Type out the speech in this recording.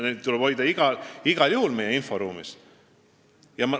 Vastupidi, neid tuleb igal juhul meie inforuumis hoida.